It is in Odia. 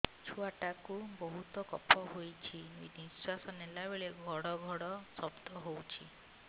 ଛୁଆ ଟା କୁ ବହୁତ କଫ ହୋଇଛି ନିଶ୍ୱାସ ନେଲା ବେଳେ ଘଡ ଘଡ ଶବ୍ଦ ହଉଛି